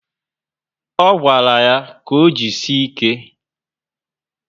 O gwara ya ka o jisie ike